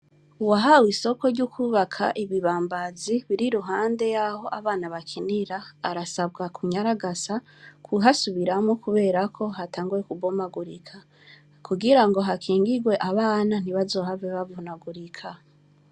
Uwahawe isoko ryo kubaka ibibambazi biri iruhande Yaho abana bakinira , arasabwa kunyaragasa kuhasubiramwo kubera ko hatanguye kubomagurika, kugira ngo hakingigwe abana ntibazohave bavunagurika.